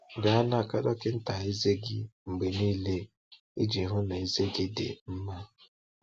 Gaa n’aka dọkịta ezé gị mgbe niile iji hụ na ezé gị dị mma.